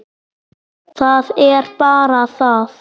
Það er bara það.